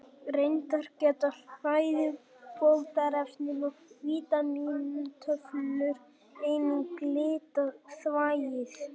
Reyndar geta fæðubótarefni og vítamíntöflur einnig litað þvagið.